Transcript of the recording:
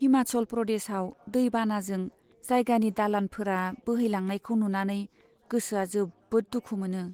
हिमाचल प्रदेशआव दै बानाजों जायगानि दालानफोरा बोहैलांनायखौ नुनानै गोसोआ जोबोद दुखु मोनो।